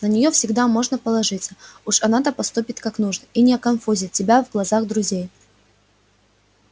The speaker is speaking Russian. на неё всегда можно положиться уж она-то поступит как нужно и не оконфузит тебя в глазах друзей